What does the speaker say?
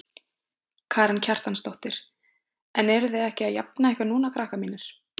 Karen Kjartansdóttir: En eruð þið ekki að jafna ykkur núna krakkar mínir?